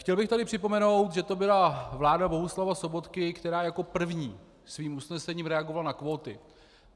Chtěl bych tady připomenout, že to byla vláda Bohuslava Sobotky, která jako první svým usnesením reagovala na kvóty.